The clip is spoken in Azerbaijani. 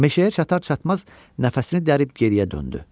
Meşəyə çatar-çatmaz nəfəsini dərib geriyə döndü.